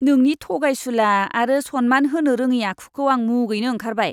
नोंनि थगायसुला आरो सनमान होनो रोङि आखुखौ आं मुगैनो ओंखारबाय।